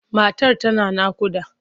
Matar tana naƙuda.